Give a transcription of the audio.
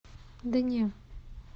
да не